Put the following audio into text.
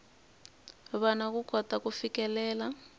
vana ku kota ku fikelela